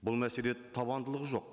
бұл мәселе табандылығы жоқ